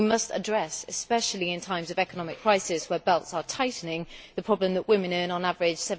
We must address especially in times of economic crisis where belts are tightening the problem that women earn on average